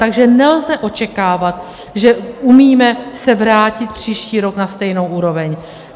Takže nelze očekávat, že umíme se vrátit příští rok na stejnou úroveň.